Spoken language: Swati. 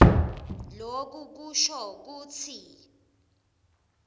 loku kusho kutsi